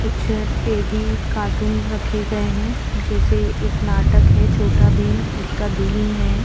कुछ teddy cartoon रखे गए हैं जैसे एक नाटक है छोटा भीम उसका भीम है।